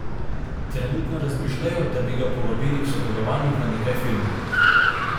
Trenutno razmišljajo, da bi ga povabili k sodelovanju v nekaj filmih.